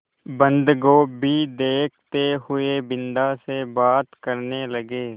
बन्दगोभी देखते हुए बिन्दा से बात करने लगे